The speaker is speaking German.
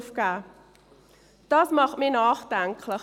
Dies stimmt mich nachdenklich.